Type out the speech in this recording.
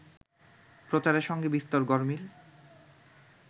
প্রচারের সঙ্গে বিস্তর গরমিল